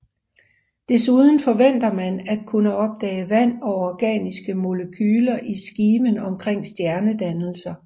Desuden forventer man at kunne opdage vand og organiske molekyler i skiven omkring stjernedannelser